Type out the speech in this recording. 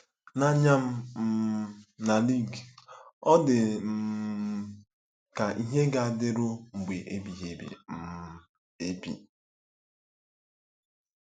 N'anya mụ um na Luigi, ọ dị um ka ihe ga-adịru mgbe ebighị um ebi.